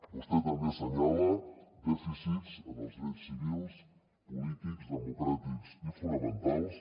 vostè també assenyala dèficits en els drets civils polítics democràtics i fonamentals